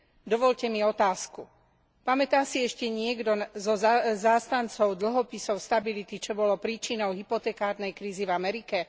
Dovoľte mi otázku pamätá si ešte niekto zo zástancov dlhopisov stability, čo bolo príčinou hypotekárnej krízy v Amerike?